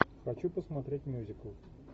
хочу посмотреть мюзикл